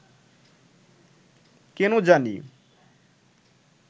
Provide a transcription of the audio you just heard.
কেন জানি